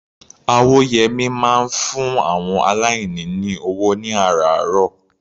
Awóyẹmí máa ń fún àwọn aláìní ní ọwọ́ ní àrààárọ̀.